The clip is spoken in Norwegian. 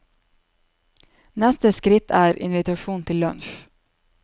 Neste skritt er invitasjon til lunsj.